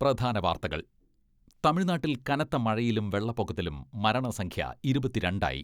പ്രധാനവാർത്തകൾ, തമിഴ്നാട്ടിൽ കനത്ത മഴയിലും വെള്ളപ്പൊക്കത്തിലും മരണസംഖ്യ ഇരുപത്തിരണ്ട് ആയി.